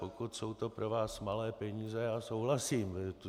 Pokud jsou to pro vás malé peníze, já souhlasím.